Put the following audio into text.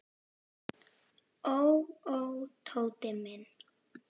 Ó, ó, Tóti minn.